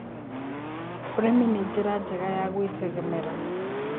Ũrĩmĩ nĩ njĩra njega ya gwĩtegemera